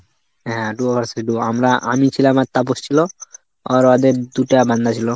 হ্যাঁ duo versus duo, আমরা আমি ছিলাম আর তাপস ছিল, আর ওদের দুটা বান্দা ছিল।